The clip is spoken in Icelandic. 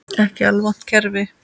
Ekki alvont kerfi.